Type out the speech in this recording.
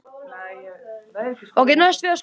Hún kaupir þetta.